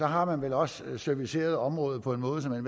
har man vel også serviceret området på en måde så man